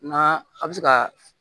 N'a a bɛ se ka